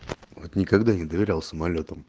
вот никогда не доверял самолётам